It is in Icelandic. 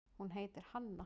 Hún heitir Hanna.